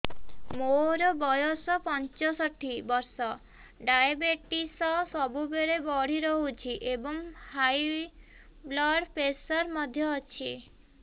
ମୋର ବୟସ ପଞ୍ଚଷଠି ବର୍ଷ ଡାଏବେଟିସ ସବୁବେଳେ ବଢି ରହୁଛି ଏବଂ ହାଇ ବ୍ଲଡ଼ ପ୍ରେସର ମଧ୍ୟ ଅଛି